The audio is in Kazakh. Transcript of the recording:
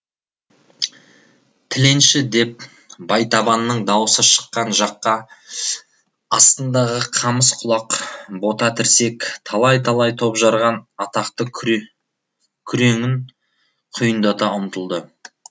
тіленші деп байтабынның даусы шыққан жаққа астындағы қамыс құлақ бота тірсек талай талай топ жарған атақты күреңін құйындата ұмтылды